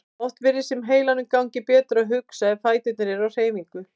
Oft virðist sem heilanum gangi betur að hugsa ef fæturnir eru á hreyfingu.